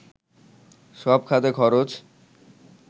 সব খাতে খরচ